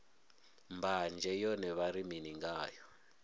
mbanzhe yone vha ri mini ngayo